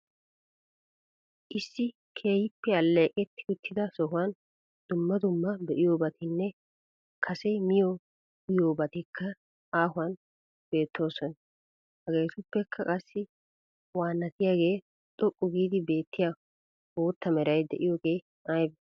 Issi keehippe alleeqeti uttida sohuwan dumma dumma be"iyoobatinne kase miyo uyyiyobatikka aahuwan beettoosona. Hagetuppekka qassi waanatiyaagee xoqqu giidi beettiya bootta meray diyooge aybe?